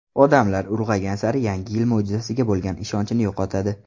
Odamlar ulg‘aygan sari Yangi yil mo‘jizasiga bo‘lgan ishonchini yo‘qotadi.